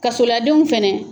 Kasoladenw fana.